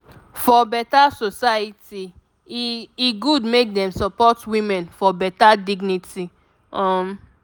for beta society e e good make dem support women for beta dignity um